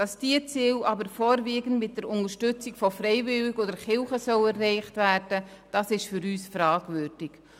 Dass diese Ziele aber vorwiegend mit der Unterstützung durch Freiwillige und die Kirche erreicht werden sollen, ist für uns fragwürdig.